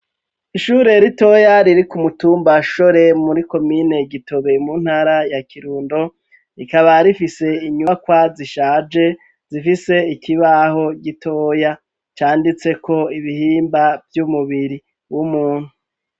Ishure ritoya riri ku mu tumba shore muri komine Gitobe mu ntara ya Kirundo rikaba rifise inyubakwa zishaje zifise ikibaho gitoya canditse ko ibihimba vy'umubiri w'umuntu